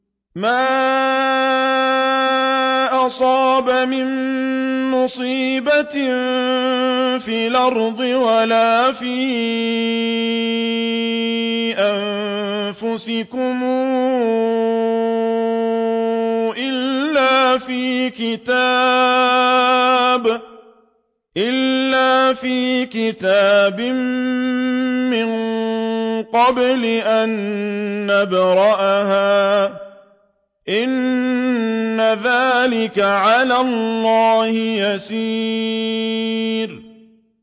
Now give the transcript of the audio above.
مَا أَصَابَ مِن مُّصِيبَةٍ فِي الْأَرْضِ وَلَا فِي أَنفُسِكُمْ إِلَّا فِي كِتَابٍ مِّن قَبْلِ أَن نَّبْرَأَهَا ۚ إِنَّ ذَٰلِكَ عَلَى اللَّهِ يَسِيرٌ